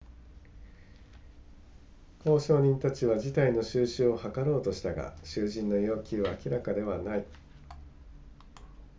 交渉人たちは事態の収拾を図ろうとしたが囚人の要求は明らかではない